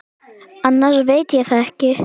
Annars veit ég það ekki.